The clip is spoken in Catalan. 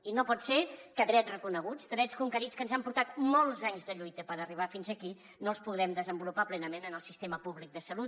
i no pot ser que drets reconeguts drets conquerits que ens han portat molts anys de lluita per arribar fins aquí no els puguem desenvo·lupar plenament en el sistema públic de salut